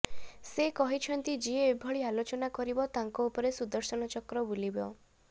ସେ କହିଛନ୍ତି ଯିଏ ଏଭଳି ଆଲୋଚନା କରିବ ତାଙ୍କ ଉପରେ ସୁଦର୍ଶନ ଚକ୍ର ବୁଲିବ